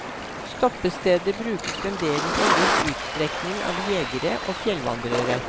Stoppestedet brukes fremdeles i en viss utstrekning av jegere og fjellvandrere.